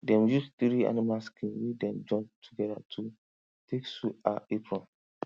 dem use three animal skin wey dem join together to take sew her apron